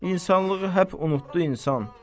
İnsanlığı həp unutdu insan.